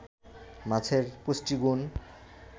মাছের পুষ্টিগুণ